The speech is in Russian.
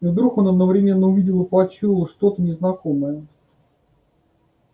и вдруг он одновременно увидел и почуял что то незнакомое